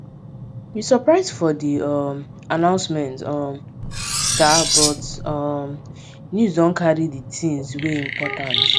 we surprise for di um announcement um sha but um news don carry di things wey important